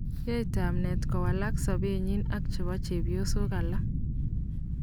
Yae tamnet kowalak sapet nyi ak chepo chepyosok alak